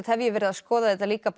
hef ég verið að skoða þetta líka